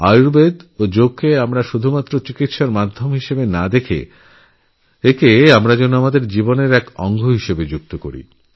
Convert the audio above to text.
আয়ুর্বেদ এবংযোগকে শুধুমাত্র রোগমুক্তির পদ্ধতি না ভেবে একে দৈনন্দিন জীবনের অঙ্গ করা উচিত